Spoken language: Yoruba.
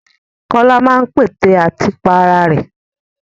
Kọ́lá máa ń pète àti pa ara rẹ̀.